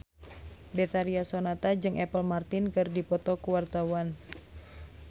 Betharia Sonata jeung Apple Martin keur dipoto ku wartawan